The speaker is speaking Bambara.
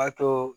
A to